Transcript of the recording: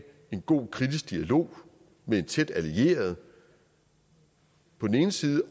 en god og kritisk dialog med en tæt allieret og på den anden side